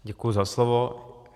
Děkuji za slovo.